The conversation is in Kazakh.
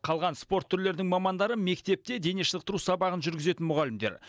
қалған спорт түрлерінің мамандары мектепте денешынықтыру сабағын жүргізетін мұғалімдер